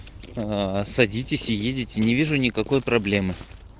аа садитесь и ездите не вижу никакой проблемы